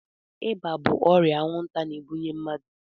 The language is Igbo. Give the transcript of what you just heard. Ịba bụ ọrịa anwụnta na-ebunye mmadụ.